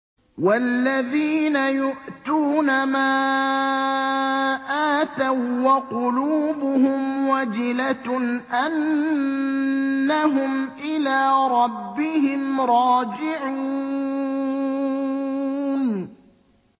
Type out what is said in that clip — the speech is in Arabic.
وَالَّذِينَ يُؤْتُونَ مَا آتَوا وَّقُلُوبُهُمْ وَجِلَةٌ أَنَّهُمْ إِلَىٰ رَبِّهِمْ رَاجِعُونَ